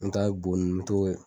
N'o t'a bɛ bo nun n t'o ye